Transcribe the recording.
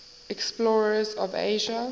explorers of asia